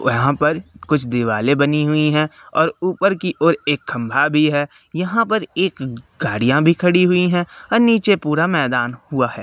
वहां पर कुछ दीवारें बनी हुई है और ऊपर की ओर एक खंभा भी है। यहां पे एक गाड़िया भी खड़ी हुई है और नीचे पूरा मैदान हुआ हैं।